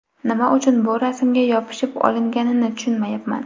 Nima uchun bu rasmga yopishib olinganini tushunmayapman.